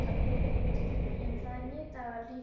Ástin mín, það er nýr dagur, nýtt ljós.